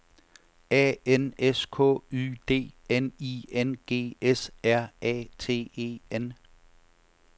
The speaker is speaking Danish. A N S K Y D N I N G S R A T E N